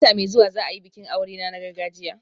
Wata mai zuwa za a yi bikin aurena na gargajiya